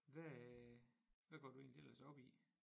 Hvad øh hvad går du egentlig ellers op i